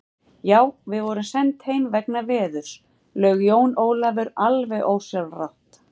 Já, við vorum send heim vegna veðurs, laug Jón Ólafur alveg ósjálfrátt.